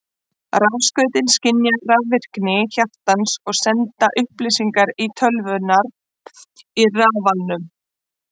Rafskautin skynja rafvirkni hjartans og senda upplýsingar til tölvunnar í rafalnum.